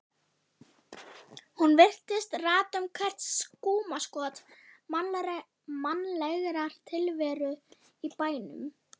Hún virtist rata um hvert skúmaskot mannlegrar tilveru í bænum.